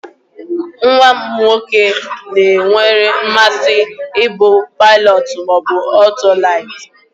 Nwa m nwoke gwara m na o nwere mmasi ibu paịlọtụ ma otolite.